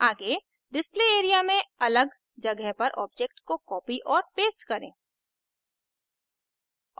आगे display area में अलग जगह पर object को copy और paste करें